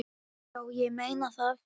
Já, ég meina það.